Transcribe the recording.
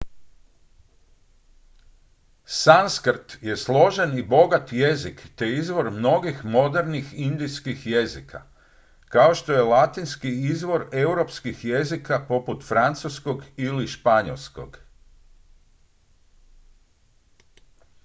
sanskrt je složen i bogat jezik te izvor mnogih modernih indijskih jezika kao što je latinski izvor europskih jezika poput francuskog ili španjolskog